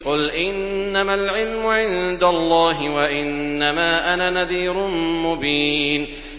قُلْ إِنَّمَا الْعِلْمُ عِندَ اللَّهِ وَإِنَّمَا أَنَا نَذِيرٌ مُّبِينٌ